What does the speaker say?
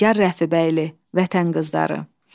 Nigar Rəfibəyli: Vətən qızları.